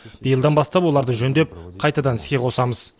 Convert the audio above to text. биылдан бастап оларды жөндеп қайтадан іске қосамыз